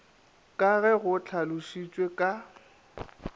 ka ge go hlalošitšwe ka